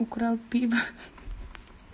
украл пиво